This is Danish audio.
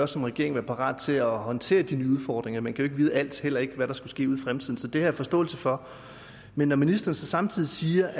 som regering være parat til at håndtere de nye udfordringer man kan jo ikke vide alt heller ikke hvad der måtte ske ude i fremtiden så det har jeg forståelse for men når ministeren så samtidig siger